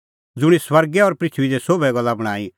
ज़ुंणी स्वर्गै और पृथूई दी सोभै गल्ला बणांईं